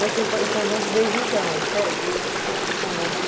es estão juntos desde então? É, desde então. Certo.